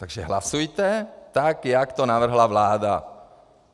Takže hlasujte tak, jak to navrhla vláda.